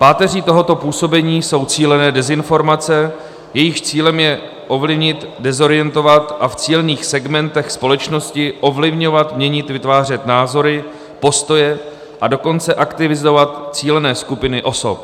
Páteří tohoto působení jsou cílené dezinformace, jejichž cílem je ovlivnit, dezorientovat a v cílených segmentech společnosti ovlivňovat, měnit, vytvářet názory, postoje, a dokonce aktivizovat cílené skupiny osob.